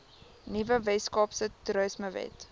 nuwe weskaapse toerismewet